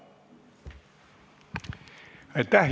Aitäh!